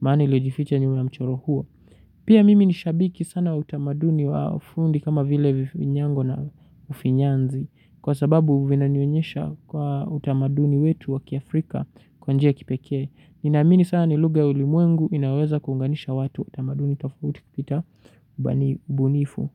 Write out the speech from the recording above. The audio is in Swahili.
maana iliyejificha nyuma ya mchoro huo. Pia mimi ni shabiki sana utamaduni wa ofundi kama vile vinyango na ufinyanzi. Kwa sababu vinanyonyesha kwa utamaduni wetu wa ki Afrika kwa njia kipeke. Ninaamini sanaa ni lugha ya ulimwengu inaweza kuunganisha watu utamaduni tafutikita ubani ubunifu.